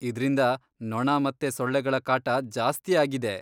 ಇದ್ರಿಂದ ನೊಣ ಮತ್ತೆ ಸೊಳ್ಳೆಗಳ ಕಾಟ ಜಾಸ್ತಿ ಆಗಿದೆ.